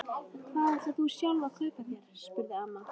En hvað ætlar þú sjálf að kaupa þér? spurði amma.